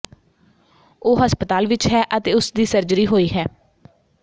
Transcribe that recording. ਉਹ ਹਸਪਤਾਲ ਵਿਚ ਹੈ ਅਤੇ ਉਸ ਦੀ ਸਰਜਰੀ ਹੋਈ ਹੈ